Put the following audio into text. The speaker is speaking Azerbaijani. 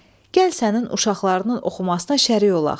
Gəl sənin uşaqlarının oxumasına şərik olaq.